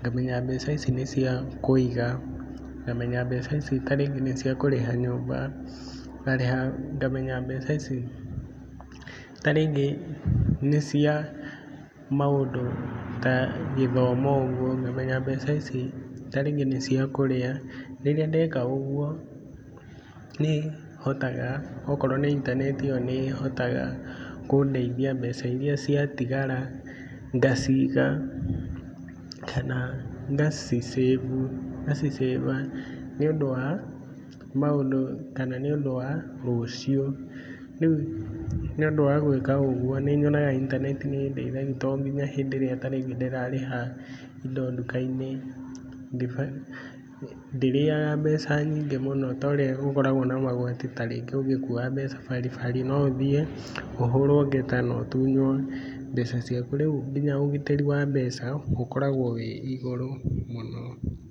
ngamenya mbeca ici nĩ cia kũiga, ngamenya mbeca ici ta rĩngĩ nĩ cia kũrĩha nyũmba, ngarĩha ngamenya mbeca ici ta rĩngĩ nĩ cia maũndũ ta gĩthomo ũguo, ngamenya mbeca ici ta rĩngĩ nĩ cia kũrĩa. Rĩrĩa ndeka ũguo nĩ hotaga, okorwo nĩ intaneti ĩo nĩ hotaga kũndeithia mbeca iria ciatigara ngaciiga, kana ngaci save, ngaci save a nĩũndũ wa maũndũ kana nĩ ũndũ wa rũciũ. Rĩu nĩ ũndũ wa gwĩka ũguo nĩ nyonaga intaneti tondũ nginya ta hĩndĩ ĩrĩa ndĩrarĩha indo nduka-inĩ, ndĩrĩaga mbeca nyingĩ mũno ta ũrĩa gũkoragwo na magoti ta rĩngĩ ũgĩkua mbeca bari bari no ũthiĩ ũhũrwo ngeta na ũtunywo mbeca ciaku. Rĩu nginya ona ũgitĩri wa mbeca ũkoragwo wĩ igũrũ mũno.